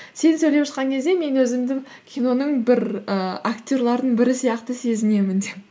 сен сөйлеп жатқан кезде мен өзімді киноның бір і актерлердің бірі сияқты сезінемін деп